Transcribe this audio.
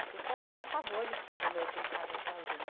Então eu tinha pavor de ficar de noite em casa sozinha.